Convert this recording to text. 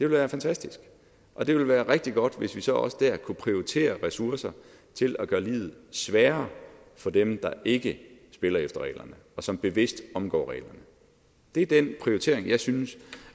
være fantastisk og det ville være rigtig godt hvis vi så også der kunne prioritere ressourcer til at gøre livet sværere for dem der ikke spiller efter reglerne og som bevidst omgår reglerne det er den prioritering som jeg synes